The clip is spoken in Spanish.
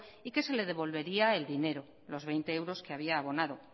y que se le devolvería el dinero los veinte euros que había abonado